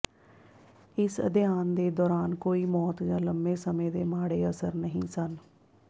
ਇਸ ਅਧਿਐਨ ਦੇ ਦੌਰਾਨ ਕੋਈ ਮੌਤ ਜਾਂ ਲੰਮੇ ਸਮੇਂ ਦੇ ਮਾੜੇ ਅਸਰ ਨਹੀਂ ਸਨ